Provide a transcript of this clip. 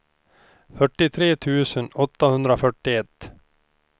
fyrtiotre tusen åttahundrafyrtioett